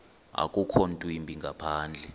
akukho ntwimbi ngaphandle